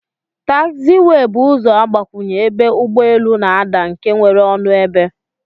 Tagziwey bu ụzọ agbakwunye ebe ụgbọ elu n'adaa nke nwere ọnụ ebe.